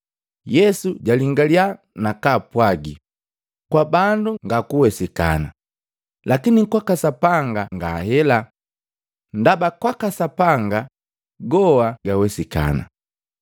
Yesu jalingaliya nakapwagi, “Kwa bandu ngakuwesikana, lakini kwaka Sapanga nga hela, ndaba kwaka Sapanga goa gawesikana.”